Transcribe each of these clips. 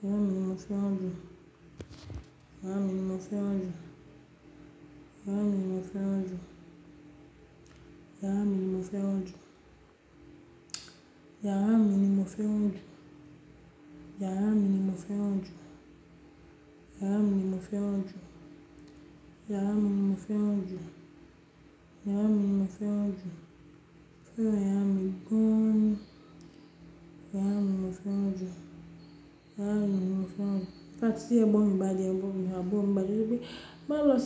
iyàrà mi mò fèrán jú iyàrà mi mò fèrán jú iyàrà mi mò fèarán jú iyàrà mi ni mò fèrán jú iyàrà mi ni mò fèrán jú iyàrà mi ni mò fèrán jú iyàrà mi ni mò fèrán jú iyàrà mi ni mò fèrán jú iyàrà mi ni mò fèrán jú iyàrà mi mò fèrán jú in fact ti egbon mi ba de-- egbon mi-- awon aburo mi ba de-- maaso pe "ma lo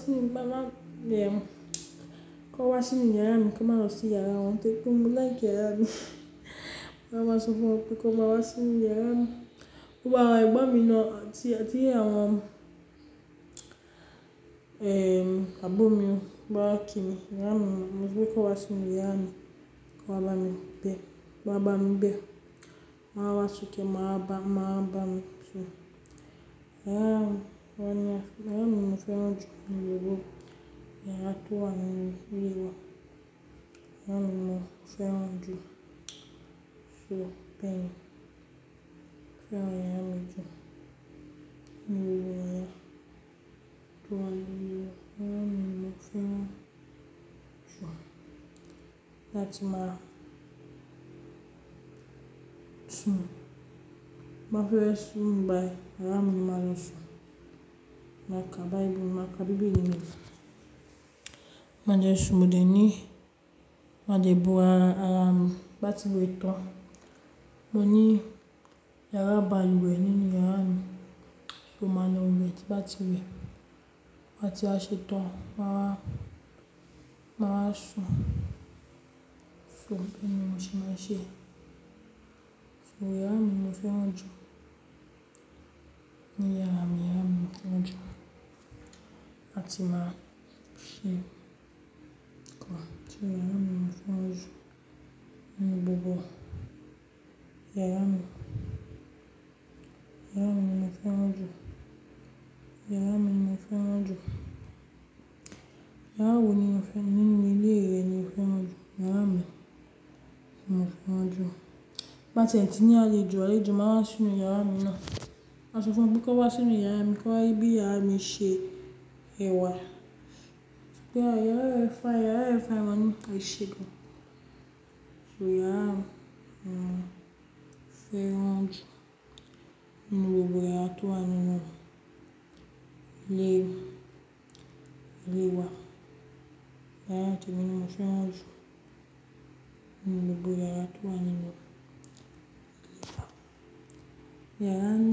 sii, kan wa sinu yara mi, kin ma losi yara won" tori pe mo like yara mi, mo maa maa sofun won pe ki won wa sinu yara mi, gbogbo awon egbon mi naa aburo mi bawa ki mi yara mii mo so pe ki won wa si nu iyàrà mi won wa bami n be, mo maa maa sope e maa wa ba mi, so yara mi, yara mi mo feran ju ninu gbogbo yara to wa ni ile wa. Yara mi mo feran ju iyarami yara mi ni mo feran ju lati masun mafuresumbai iyaramumarosun maka Baibul maka bibeli mi made sun mode ni made bo ara ara mi bati we tan moni yara baluwe ninu yarami so malo we ti n bati we ma ti wa she tan maa wa mawa sun So beeni mo se maa n se, so yara mi ni mo feran ju So yara mi ni mo feran ju lati maa se nkan, so yara mi ni mo feran ju ninu gbogbo yara yen yara mi ni mo feran ju, yara mi ni mo feran ju, yara wo ni ninu ile re ni o feran ju? Yara mi ni mo feran ju. Ti n ba tie ti ni alejo, alejo maa n wa sinu yara mi naa maa so fun won kan wa sinu yara mi ki won rii bii yara mi se wa yara e-- yara e fine, yara e fine, maa ni ese gan an, so yara mi ni mo feran ju ninu gbogbo yara ile yara temi ni mo feran ju ninu gbogbo yara to wa ninu ile wa-- yara ni.